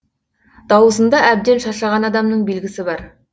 дауысында әбден шаршаған адамның белгісі бар